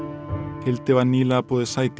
Hildi var nýlega boðið sæti í